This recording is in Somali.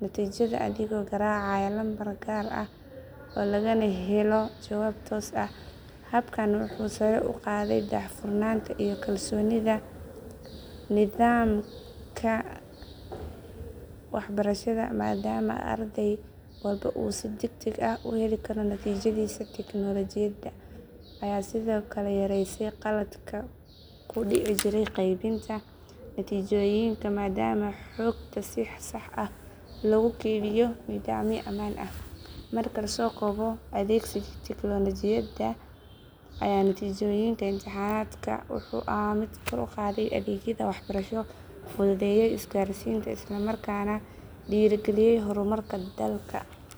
natiijada adigoo garaacaya lambar gaar ah lagana helo jawaab toos ah. Habkan wuxuu sare u qaaday daahfurnaanta iyo kalsoonida nidaamka waxbarashada maadaama arday walba uu si degdeg ah u heli karo natiijadiisa. Teknoolajiyada ayaa sidoo kale yareysay khaladaadka ku dhici jiray qaybinta natiijooyinka maadaama xogta si sax ah loogu kaydiyo nidaamyo ammaan ah. Marka la soo koobo, adeegsigii teknoolajiyada ee natiijooyinka imtixaanaadka wuxuu ahaa mid kor u qaaday adeegyada waxbarasho, fududeeyay isgaarsiinta, isla markaana dhiirrigeliyay horumarka dalka.